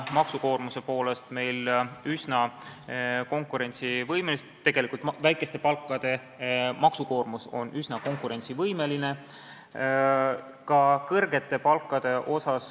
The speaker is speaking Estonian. Ma võin kinnitada, et väiksemate palkade maksukoormus on üsna konkurentsivõimeline.